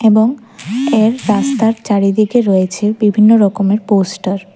এবং এর রাস্তার চারিদিকে রয়েছে বিভিন্ন রকমের পোস্টার ।